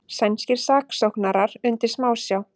Sænskir saksóknarar undir smásjá